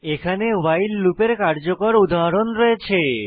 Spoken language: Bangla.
এখানে ভাইল লুপের কার্যকর উদাহরণ রয়েছে